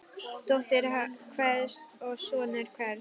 Dóttir hvers og sonur hvers.